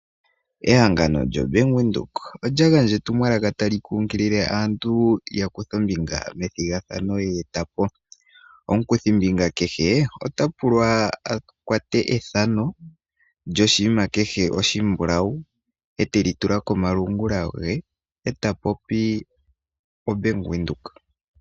Ehangano lyoStandard bank oya gandja etumwalaka kombinga yethigathano ye eta po. Omukuthi mbinga kehe na kuthe ethano lyoshinima oshimbulawu eta popi oStandard bank.